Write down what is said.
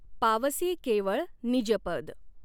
पावसी कॆवळ निजपद.